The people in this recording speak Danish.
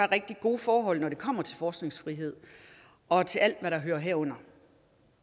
rigtig gode forhold når det kommer til forskningsfriheden og til alt hvad der hører herunder